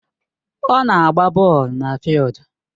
Ọ na-agba bọọlụ na fịịldu